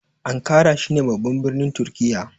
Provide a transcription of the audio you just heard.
Ankara shine babban birnin turkiya